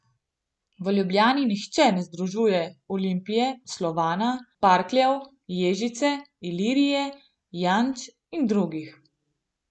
V Ljubljani nihče ne združuje Olimpije, Slovana, Parkljev, Ježice, Ilirije, Janč in drugih.